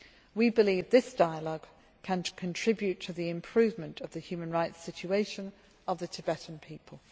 We believe this dialogue can contribute to the improvement of the human rights situation of the Tibetan people.